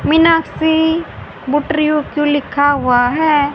मीनाक्षी क्यों लिखा हुआ है।